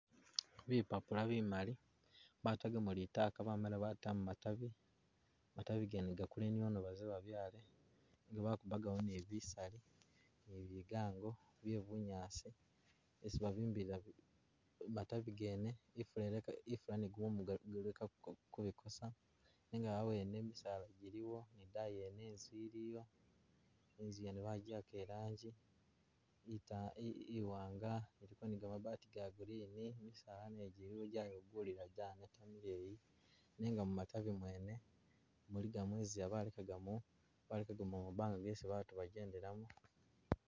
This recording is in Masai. Bipapula bimali batagamo litaka bamala batamu matabi, matabi gene gakule niono baze babyaale nga bakuakawo ne bisaali ne bigango bye bunyaasi esi babimbilila matabi gene, ifula ileke ifula ne gumumu bileke kubikosa nenga abwene misaala jiliwo ne idayi yene inzu iliyo inzu yene bajiwaka ilanji ita iwanga iliko ne gamabaati ga green, misaala nagyo jiliwo jayoma jayikulila janeta mileyi nenga mumatabi mwene mulikamo inzila balekakamo balekakamo mabanga mwesi baatu bejendelamo.